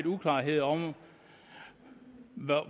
uklarheder om